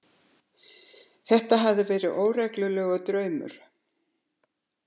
Þetta hafði verið órólegur draumur.